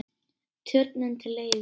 Turninn til leigu